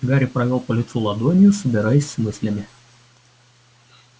гарри провёл по лицу ладонью собираясь с мыслями